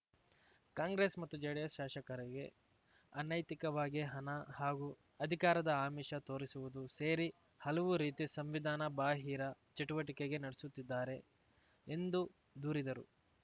ಕಾಂಗ್ರೆಸ್‌ ಮತ್ತು ಜೆಡಿಎಸ್‌ ಶಾಸಕರಿಗೆ ಅನೈತಿಕವಾಗಿ ಹಣ ಹಾಗೂ ಅಧಿಕಾರದ ಆಮಿಷ ತೋರಿಸುವುದು ಸೇರಿ ಹಲವು ರೀತಿ ಸಂವಿಧಾನ ಬಾಹಿರ ಚಟುವಟಿಕೆಗೆ ನಡೆಸುತ್ತಿದ್ದಾರೆ ಎಂದು ದೂರಿದರು